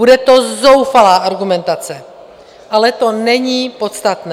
Bude to zoufalá argumentace, ale to není podstatné.